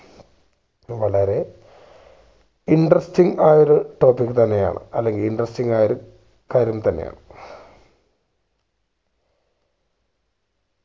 വളരെ interesting ആയൊരു topic തന്നെ ആണ് അല്ലെങ്കി interesting ആയൊരു കാര്യം തന്നെ ആണ്